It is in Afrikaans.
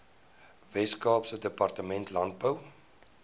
weskaapse departement landbou